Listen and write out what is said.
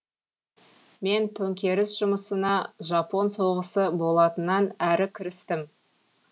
мен төңкеріс жұмысына жапон соғысы болатыннан әрі кірістім